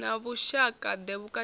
na vhushaka ḓe vhukati ha